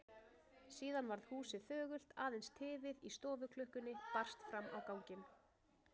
Síðan varð húsið þögult, aðeins tifið í stofuklukkunni barst fram á ganginn.